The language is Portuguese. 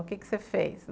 O que você fez?